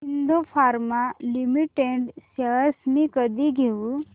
Aurobindo pharma limited shares मी कधी घेऊ